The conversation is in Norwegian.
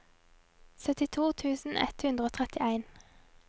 syttito tusen ett hundre og trettien